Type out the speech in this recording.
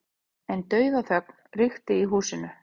En dauðaþögn ríkti í húsinu.